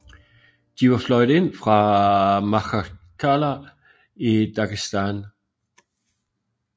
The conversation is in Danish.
De var fløjet ind fra Makhachkala i Dagestan